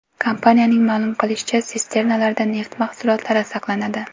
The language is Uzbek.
Kompaniyaning ma’lum qilishicha, sisternalarda neft mahsulotlari saqlanadi.